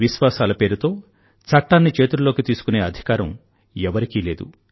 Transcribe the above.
విశ్వాసాల పేరుతో చట్టాన్ని చేతుల్లోకి తీసుకునే అధికారం ఎవరికీ లేదు